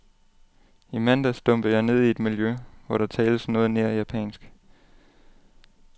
I mandags dumpede jeg ned i et miljø, hvor der tales noget nær japansk.